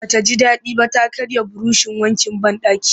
Ba ta ji daɗi ba ta karya burushin wankin banɗaki